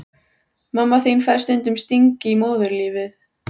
Mamma þín fær stundum stingi í móðurlífið.